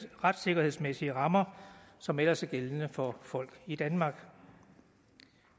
retssikkerhedsmæssige rammer som ellers er gældende for folk i danmark